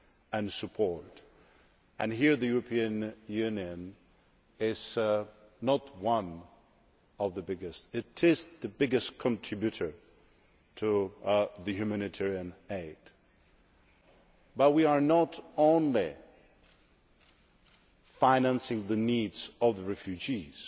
and support, and here the European Union is not one of the biggest, it is the biggest contributor to humanitarian aid. However, we are not only financing the needs of the refugees.